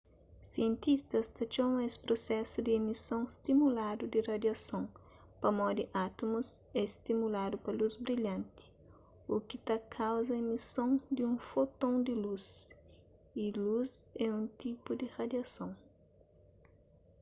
sientistas ta txoma es prusesu di emison stimuladu di radiason pamodi átumus é stimuladu pa lus brilhanti u ki ta kauza emison di un foton di lus y lus é un tipu di radiason